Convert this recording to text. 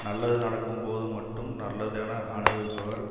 நல்லது நடக்கும்போது மட்டும் நல்லது என அனுபவிப்பவர்